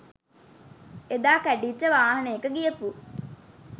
එදා කැඩිච්ච වාහනේක ගියපු